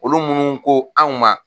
Olu minnu ko anw ma